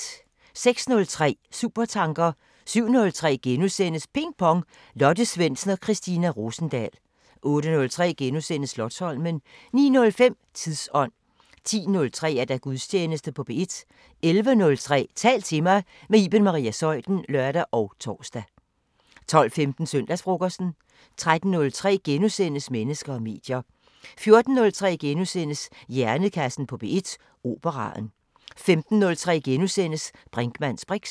06:03: Supertanker 07:03: Ping Pong – Lotte Svendsen og Christina Rosendahl * 08:03: Slotsholmen * 09:05: Tidsånd 10:03: Gudstjeneste på P1 11:03: Tal til mig – med Iben Maria Zeuthen (søn og tor) 12:15: Søndagsfrokosten 13:03: Mennesker og medier * 14:03: Hjernekassen på P1: Operaen * 15:03: Brinkmanns briks *